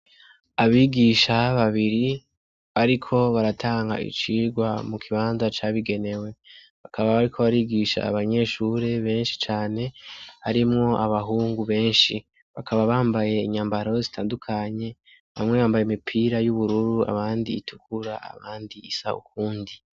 Abigisha babiri bariko baratanga icigwa mu kibanza cabigenewe. Bakaba bariko barigisha abanyeshuri benshi cane harimwo abahungu benshi. Bakaba bambaye imyambaro zitandukanye, bamwe bambaye imipira y’ubururu, abandi itukura, abandi isa ukundi.